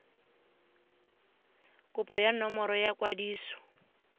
kopo ya nomoro ya kwadiso